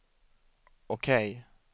OK